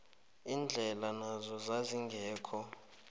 indlela nazo zazingekho